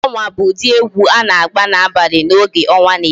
Egwu onwa bụ ụdị egwu a na-egwu n'abalị n'oge ọnwa na-eti